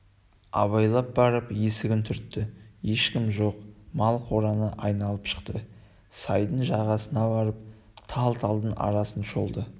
абайлап барып есігін түртті ешкім жоқ мал қораны айналып шықты сайдың жағасына барып тал-талдың арасын шолды